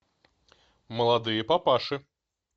молодые папаши